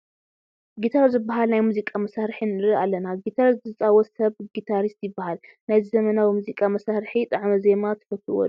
ጊታር ዝበሃል ናይ ሙዚቃ መሳርሒ ንርኢ ኣለና፡፡ ጊታር ዝፃወት ሰብ ጊታሪስት ይበሃል፡፡ ናይዚ ዘመናዊ ሙዚቃ መሳርሒ ጣዕመ ዜማ ትፈትዉዎ ዶ?